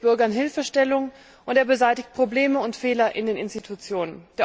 Er gibt Bürgern Hilfestellung und er beseitigt Probleme und Fehler in den Institutionen.